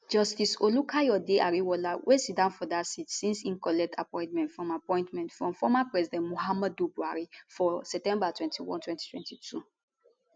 justice olukayode ariwoola wey siddon for dat seat since im collect appointment from appointment from former president muhammadu buhari for september 21 2022